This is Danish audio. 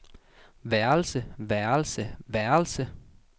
værelse værelse værelse